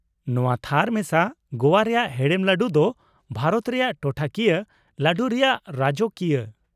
ᱱᱚᱶᱟ ᱛᱷᱟᱨ ᱢᱮᱥᱟ ᱜᱳᱣᱟ ᱨᱮᱭᱟᱜ ᱦᱮᱲᱮᱢ ᱞᱟᱹᱰᱩ ᱫᱚ ᱵᱷᱟᱨᱚᱛ ᱨᱮᱭᱟᱜ ᱴᱚᱴᱷᱟ ᱠᱤᱭᱟᱹ ᱞᱟᱰᱩ ᱨᱮᱭᱟᱜ ᱨᱟᱡᱚᱠᱤᱭᱟᱹ ᱾